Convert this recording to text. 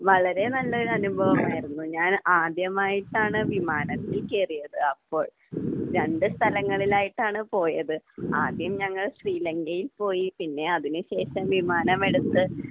വളരെ നല്ല ഒരു അനുഭവം ആയിരുന്നു. ഞാൻ ആദ്യമായിട്ടാണ് വിമാനത്തിൽ കയറിയത് അപ്പോൾ. രണ്ട് സ്ഥലങ്ങളിലായിട്ടാണ് പോയത്. ആദ്യം ഞങ്ങൾ ശ്രീ ലങ്കയിൽ പോയി. പിന്നെ അതിന് ശേഷം വിമാനം എടുത്ത്